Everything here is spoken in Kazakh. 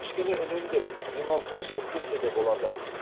кішкене үнемдеп демалысқа шығып келсе де болады